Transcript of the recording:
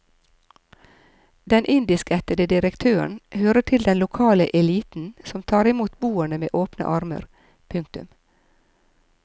Den indiskættede direktøren hører til den lokale eliten som tar imot boerne med åpne armer. punktum